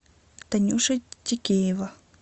танюша текеева